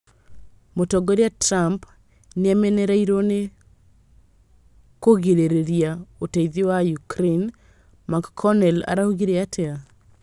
Mũtongoria Trump nĩamenereirio nĩ kũgirĩria ũteithio wa Ukraine, McConnell araugire atĩa?